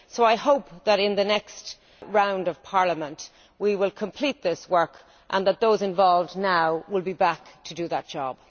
So I hope that in the next round of Parliament we will complete this work and that those involved now will be back to do that job.